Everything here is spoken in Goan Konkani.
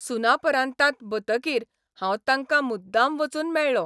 सुनापरान्तांत बतकीर हांव तांकां मुद्दाम वचून मेळ्ळों.